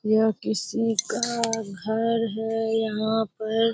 यह किसी का घर है यहाँ पर।